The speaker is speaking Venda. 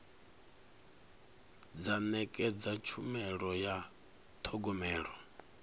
dza nekedza tshumelo ya thogomelo